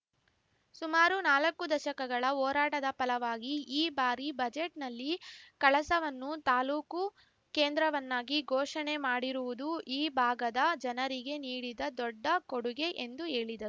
ಸುಮಾರು ನಾಲಕ್ಕು ದಶಕಗಳ ಹೋರಾಟದ ಫಲವಾಗಿ ಈ ಬಾರಿ ಬಜೆಟ್‌ನಲ್ಲಿ ಕಳಸವನ್ನು ತಾಲೂಕು ಕೇಂದ್ರವನ್ನಾಗಿ ಘೋಷಣೆ ಮಾಡಿರುವುದು ಈ ಭಾಗದ ಜನರಿಗೆ ನೀಡಿದ ದೊಡ್ಡ ಕೊಡುಗೆ ಎಂದು ಹೇಳಿದರು